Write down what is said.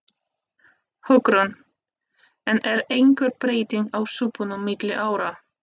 Hugrún: En er einhver breyting á súpunum milli ára?